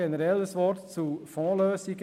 Generell ein Wort zu Fondslösungen: